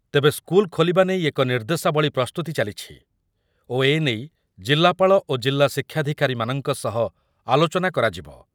ତେବେ ସ୍କୁଲ ଖୋଲିବା ନେଇ ଏକ ନିର୍ଦ୍ଦେଶାବଳୀ ପ୍ରସ୍ତୁତି ଚାଲିଛି ଓ ଏ ନେଇ ଜିଲ୍ଲାପାଳ ଓ ଜିଲା ଶିକ୍ଷାଧିକାରୀ ମାନଙ୍କ ସହ ଆଲୋଚନା କରାଯିବ ।